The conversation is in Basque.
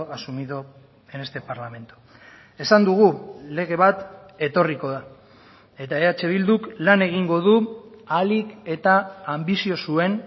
asumido en este parlamento esan dugu lege bat etorriko da eta eh bilduk lan egingo du ahalik eta anbizio zuen